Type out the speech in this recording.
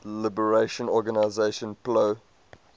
liberation organization plo